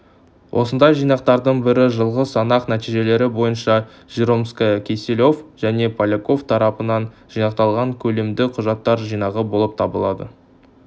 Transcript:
осындай жинақтардың бірі жылғы санақ нәтижелері бойынша жиромская киселев және поляков тарапынан жинақталған көлемді құжаттар жинағы болып табылады